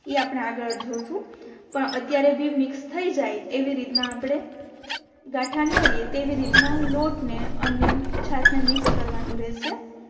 ઇ આપણે આગળ જોશું પણ અત્યારે બી મિક્સ થઈ જાય એવી રીતના આપણે ગાથા ન રિયે તેવી રીતના લોટ ને અને છાસ ને મિક્સ કરવાનું રેહશે